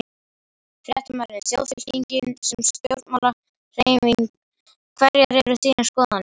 Fréttamaður: Þjóðfylkingin sem stjórnmálahreyfing, hverjar eru þínar skoðanir?